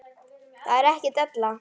Það er ekki della.